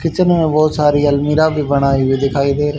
kitchen है बहुत सारी अलमीरा भी बनाई हुई दिखाई दे--